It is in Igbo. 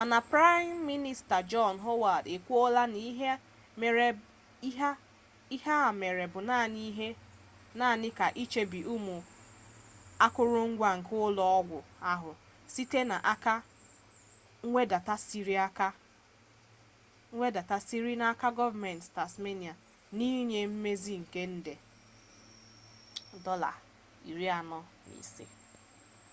mana prime minista john howard ekwuola na ihe a mere bụ naanị ka ichebe ụmụ akụrụngwa nke ụlọ ọgwụ ahụ site n'aka mwedàta siri n'aka gọọmentị tasmania n'inye mmezi nke nde aud$45